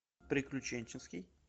приключенческий